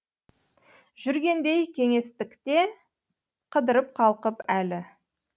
жүргендей кеңестікте қыдырып қалқып әлі